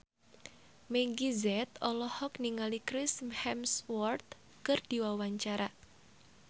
Meggie Z olohok ningali Chris Hemsworth keur diwawancara